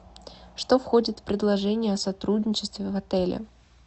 что входит в предложение о сотрудничестве в отеле